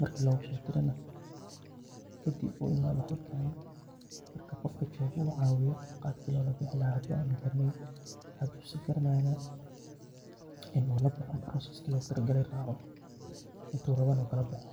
marki logusodiro nah kadib uimada halkani, marka gofka jogoo u cawiyo qabki lolabihi lahay hadhi ama u garaneynin ama hadu si garanayo nah ini ulaboho process logutalagalay racoo, inu rawo na u kalaboho.